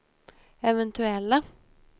eventuella